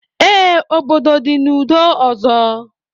Ee, obodo dị n'udo ọzọ